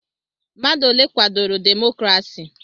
Mmadụ ole kwadoro demokrasi?